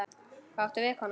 Hvað áttu við, kona?